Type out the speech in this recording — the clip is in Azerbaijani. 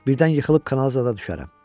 Birdən yıxılıb kanal zada düşərəm.